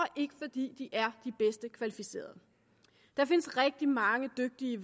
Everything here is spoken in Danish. ikke fordi de er de bedst kvalificerede der findes rigtig mange dygtige